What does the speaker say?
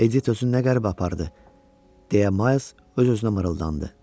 Edit özünü nə qəribə apardı, deyə Ma öz-özünə mırıldandı.